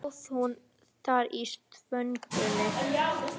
Kannski stóð hún þar í þvögunni.